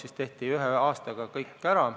Ühe aastaga tehti aga kõik ära.